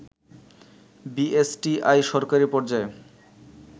BSTI সরকারি পর্যায়ে